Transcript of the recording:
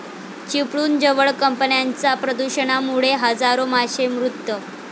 चिपळूणजवळ कंपन्यांच्या प्रदूषणामुळे हजारो मासे मृत